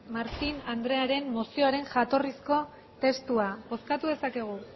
martín andrearen mozioaren jatorrizko testua bozkatu dezakegu